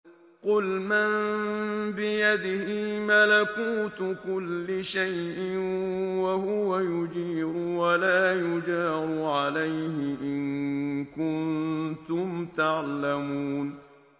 قُلْ مَن بِيَدِهِ مَلَكُوتُ كُلِّ شَيْءٍ وَهُوَ يُجِيرُ وَلَا يُجَارُ عَلَيْهِ إِن كُنتُمْ تَعْلَمُونَ